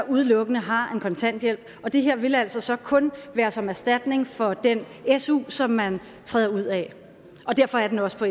udelukkende har en kontanthjælp og det her vil altså kun være som erstatning for den su som man træder ud af og derfor er den også på